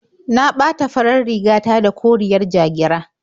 Na ɓata farar riga ta da koriyar ja-gira.